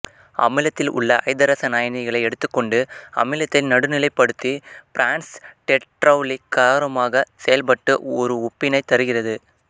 அமிலத்தில் அமிலத்தில் உள்ள ஐதரசன் அயனிகளை எடுத்துக் கொண்டு அமிலத்தை நடுநிலைப்படுத்தி பிரான்ஸ்டெட்லெளரி காரமாகச் செயல்பட்டு ஒரு உப்பினைத் தருகிறது